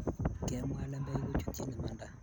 Kemwa lembech ko chutchin imanda